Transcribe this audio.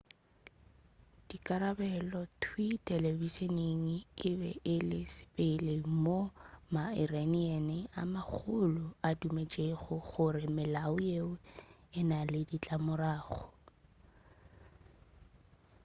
dikarabelo thwii telebišening e be e le sa pele moo ma-iranian a magolo a dumetšego gore melao yeo e na le ditlamorago